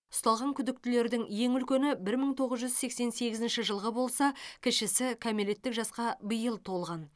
ұсталған күдіктілердің ең үлкені бір мың тоғыз жүз сексен сегізінші жылғы болса кішісі кәмелеттік жасқа биыл толған